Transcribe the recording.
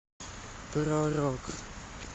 про рок